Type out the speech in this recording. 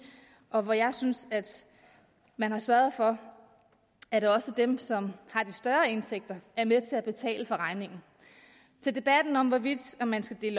og jeg synes at man har sørget for at også dem som har de større indtægter er med til at betale for regningen til debatten om hvorvidt man skal dele